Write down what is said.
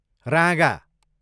राँगा